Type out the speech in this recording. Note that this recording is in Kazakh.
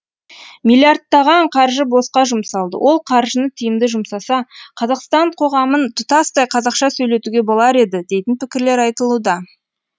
миллиардтаған қаржы босқа жұмсалды ол қаржыны тиімді жұмсаса қазақстан қоғамын тұтастай қазақша сөйлетуге болар еді дейтін пікірлер айтылуда